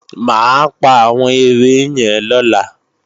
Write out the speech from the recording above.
Mà á pa àwọn ere yẹn lọ́la